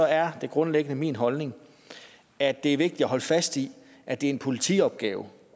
er det grundlæggende min holdning at det er vigtigt at holde fast i at det er en politiopgave